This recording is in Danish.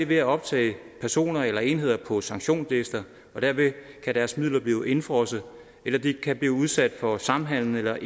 ved at optage personer eller enheder på sanktionslister og derved kan deres midler blive indefrosset eller de kan blive udsat for samhandels eller